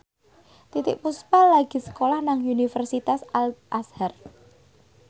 Titiek Puspa lagi sekolah nang Universitas Al Azhar